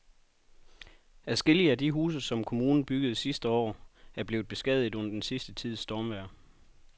Adskillige af de huse, som kommunen byggede sidste år, er blevet beskadiget under den sidste tids stormvejr.